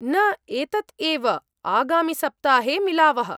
-न, एतत् एव, आगामिसप्ताहे मिलावः।